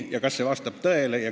Kas see kõik vastab tõele?